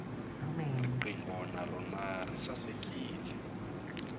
riqingho na rona ri sasekile